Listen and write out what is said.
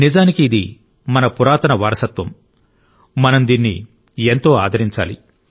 నిజానికి ఇది మన పురాతన వారసత్వం మనం దీన్ని ఎంతో ఆదరించాలి